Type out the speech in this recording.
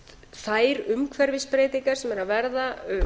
þær umhverfisbreytingar sem eru að verða